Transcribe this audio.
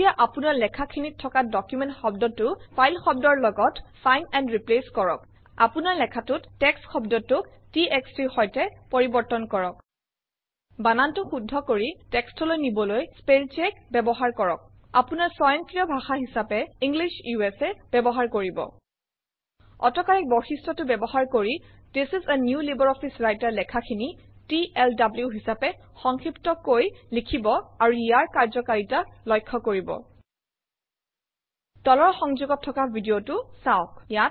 এতিয়া আপোনাৰ লেখাখিনিত থকা ডকুমেণ্ট শব্দটো ফাইল শব্দৰ লগত ফাইণ্ড এণ্ড ৰিপ্লেচ কৰক আপোনাৰ লেখাটোত টেক্সট শব্দটোক txt ৰ সৈতে পৰিৱৰ্তন কৰক বানানটো শুদ্ধ কৰি text অলৈ নিবলৈ স্পেল চেক ব্যৱহাৰ কৰক আপোনাৰ স্বয়ংক্ৰিয় ভাষা হিচাপে ইংলিছ উচা ব্যৱহাৰ কৰিব অটো কৰেক্ট বৈশিষ্ট্যটো ব্যৱহাৰ কৰি this is a new LibreOffice Writer লেখাখিনি টিএলডব্লু হিচাপে সংক্ষিপ্তকৈ লিখিব আৰু ইয়াৰ কাৰ্যকাৰিতা লক্ষ্য কৰিব তলৰ সংযোগত থকা ভিডিঅটো চাওক